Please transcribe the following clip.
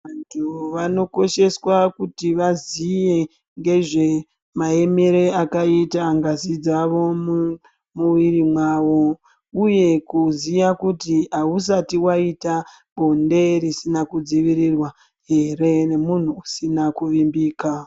Vanthu vanokosheswa kuti vaziye ngezve maemere akaita ngazi dzavo mumwiri mavo uye kuziya kutii ausati waita bonde risina kudzivirirwa ere nemunhu usina kuvimbika.